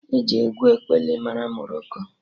Eji egwu ekpili mara Moroko